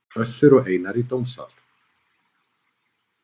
Össur og Einar í dómsal